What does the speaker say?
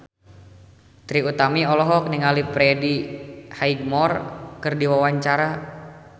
Trie Utami olohok ningali Freddie Highmore keur diwawancara